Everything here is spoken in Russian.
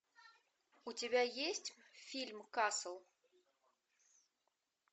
у тебя есть фильм касл